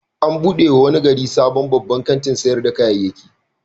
An buɗe wa wani gari sabon babban kantin sayar da kayayyaki.